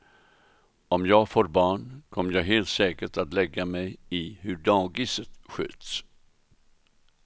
Om jag får barn kommer jag helt säkert att lägga mig i hur dagiset sköts.